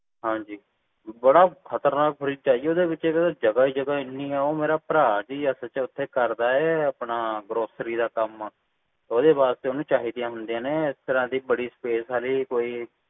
ਹਾਂਜੀ ਬੜਾ ਖ਼ਤਰਨਾਕ fridge ਆ ਜੀ ਓਹਦੇ ਵਿਚ ਜਗਾਹ ਹੀ ਜਗਾਹ ਹੈ ਇੰਨੀ ਹੈ ਉਹ ਮੇਰਾ ਭਰਾ ਜੀ ਸੱਚ ਓਥੇ ਕਰਦਾ ਏ grocery ਦਾ ਕੰਮ ਇਸ ਕਰਕੇ ਓਹਨੂੰ ਚਾਹੀਦੀ ਹੁੰਦੀਆਂ ਨੇ ਇਸ ਤਰ੍ਹਾਂ ਦੀ ਬੜੀ space ਆਲੀ ਹਾਂਜੀ